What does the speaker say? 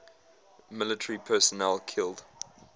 military personnel killed